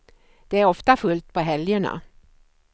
Det är ofta fullt på helgerna.